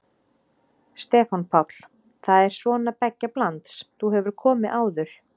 Stefán Páll: Það er svona beggja blands, þú hefur komið áður?